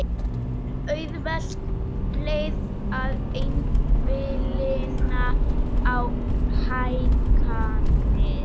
Auðveld leið að einblína á hækkanir